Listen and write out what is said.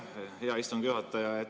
Aitäh, hea istungi juhataja!